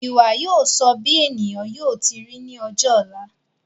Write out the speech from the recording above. Ìwà yóò sọ bí ènìyàn yóò ti ri ní ọjọ ọ̀la